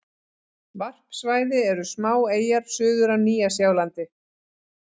Varpsvæði eru smáeyjar suður af Nýja-Sjálandi.